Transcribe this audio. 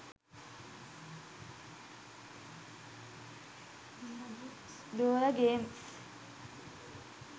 dora games